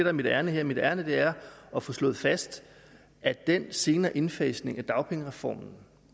er mit ærinde her mit ærinde er at få slået fast at den senere indfasning af dagpengereformen